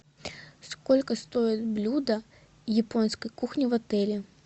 сколько стоит блюдо японской кухни в отеле